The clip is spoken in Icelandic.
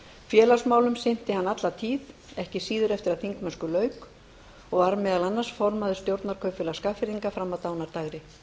félagsmálum sinnti hann alla tíð ekki síður eftir að þingmennsku lauk og var meðal annars formaður stjórnar kaupfélags skagfirðinga fram að dánardægri